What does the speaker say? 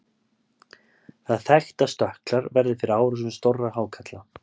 það er þekkt að stökklar verði fyrir árásum stórra hákarla